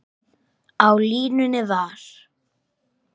Á línunni var